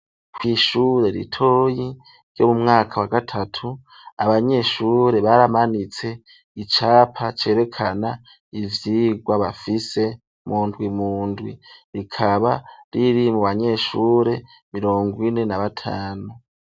Ku’ishure ritoyi ryo mu mwaka wa gatatu abanyeshure baramanitse icapa cerekana ivyigwa bafise mu ndwi mu ndwi rikaba riri mu banyeshure mirongo ine na batanu.